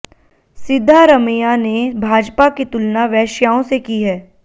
सिद्धारमैया ने भाजपा की तुलना वेश्याओं से की है